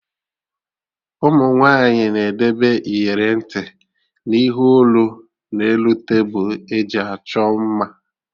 Ụmụ nwaanyị na-edebe iyeri ntị na ihe olu na elu tebụl eji achọ mma